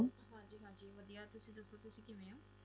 ਹਾਂਜੀ ਹਾਂਜੀ ਵਧੀਆ ਤੁਸੀ ਦਸੋ ਤੁਸੀ ਕਿਵੇਂ ਓ